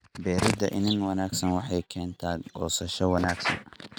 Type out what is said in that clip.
Beeridda iniin wanaagsan waxay keentaa goosasho wanaagsan.